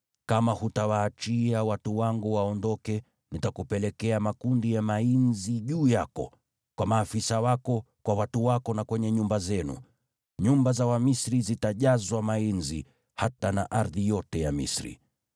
Kama hutawaachia watu wangu waondoke nitakupelekea makundi ya mainzi juu yako, kwa maafisa wako, kwa watu wako na kwenye nyumba zenu. Nyumba za Wamisri zitajazwa mainzi, hata na ardhi yote ya Misri.